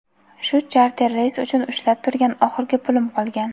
shu charter reys uchun ushlab turgan oxirgi pulim qolgan.